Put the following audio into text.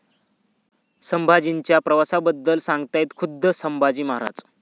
संभाजी'च्या प्रवासाबद्दल सांगतायत खुद्द संभाजी महाराज